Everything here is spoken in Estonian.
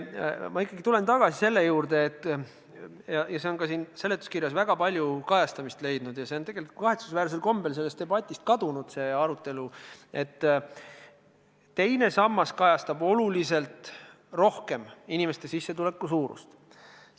Ma ikkagi tulen tagasi selle juurde – see on ka siin seletuskirjas väga palju kajastamist leidnud, aga see arutelu on kahetsusväärsel kombel sellest debatist kadunud –, et teine sammas kajastab inimeste sissetuleku suurust oluliselt rohkem.